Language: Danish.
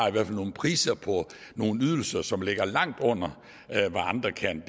nogle priser på nogle ydelser som ligger langt under hvad andre kan